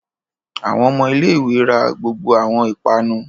Awọn ọmọ ilé-ìwé rá gbogbo awọn ipanu